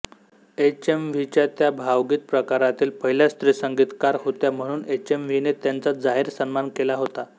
एचएमव्हीच्या त्या भावगीत प्रकारातील पहिल्या स्त्रीसंगीतकार होत्या म्हणून एचएमव्हीने त्यांचा जाहीर सन्मान केला होता